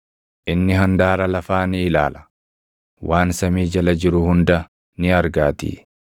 inni handaara lafaa ni ilaala; waan samii jala jiru hunda ni argaatii.